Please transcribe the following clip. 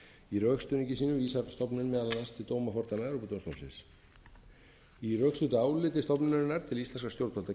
í rökstuðningi sínum stofnuninni á dómi evrópudómstólsins í rökstuddu áliti stofnunarinnar til íslenskra stjórnvalda kemur meðal annars fram að